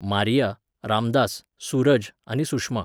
Maria, Ramdas, Suraj आनी सुषमा